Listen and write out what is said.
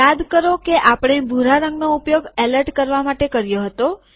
યાદ કરો કે આપણે ભૂરા રંગનો ઉપયોગ એલર્ટ કરવા માટે કર્યો હતો